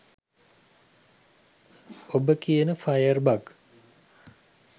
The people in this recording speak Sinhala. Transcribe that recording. ඔබ කියන ෆයර් බග්